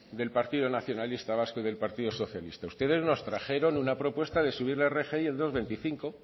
del partido nacionalista vasco y del partido socialista ustedes nos trajeron una propuesta de subir la rgi el dos coma veinticinco